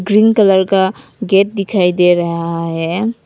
Pink colour का gate दिखाई दे रहा है।